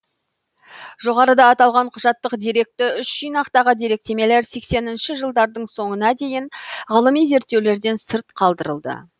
жоғарыда аталған құжаттык деректі үш жинақтағы деректемелер сексенінші жылдардың соңына дейін ғылыми зерттеулерден сырт қалдырылды